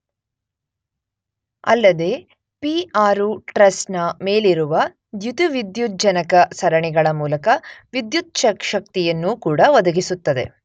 ಅಲ್ಲದೇ P 6 truss ನ ಮೇಲಿರುವ ದ್ಯುತಿವಿದ್ಯುಜ್ಜನಕ ಸರಣಿಗಳ ಮೂಲಕ ವಿದ್ಯುತ್ ಶಕ್ತಿಯನ್ನೂ ಕೂಡ ಒದಗಿಸುತ್ತದೆ.